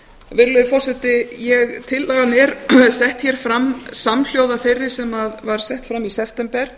virðulegi forseti tillagan er sett hér fram samhljóða þeirri sem var sett fram í september